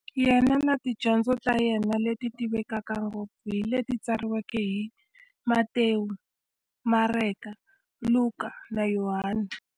Yena na tidyondzo ta yena, leti tivekaka ngopfu hi leti tsariweke hi-Matewu, Mareka, Luka, na Yohani.